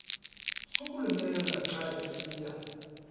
sokulumela xa esiya